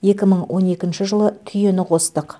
екі мың он екінші жылы түйені қостық